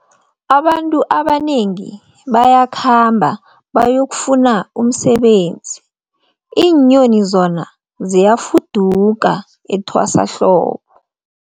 Abantu abanengi bayakhamba bayokufuna umsebenzi, iinyoni zona ziyafuduka etwasahlobo.